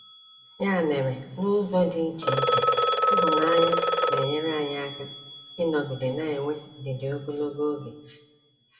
Ya mere, n’ụzọ dị iche iche, ịhụnanya na-enyere anyị aka ịnọgide na-enwe ndidi ogologo oge.